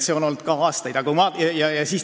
See on aastaid nii olnud.